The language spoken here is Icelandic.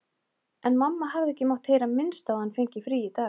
En mamma hafði ekki mátt heyra minnst á að hann fengi frí í dag.